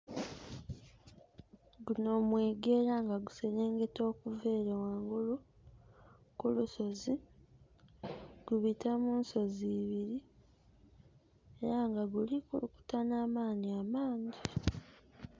Guno mwiga era nga guserengeta okuva eyo wangulu ku lusozi. Gubita mu nsozi ibiri, era nga guli kulukuta n'amaani amangi.